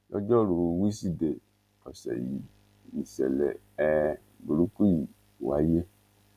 lọjọ́ rùú wísìdeè ọ̀sẹ̀ yìí nìṣẹ̀lẹ̀ um burúkú yìí wáyé